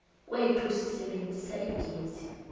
kwethu sisebenzisa igezi